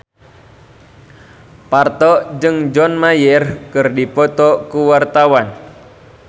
Parto jeung John Mayer keur dipoto ku wartawan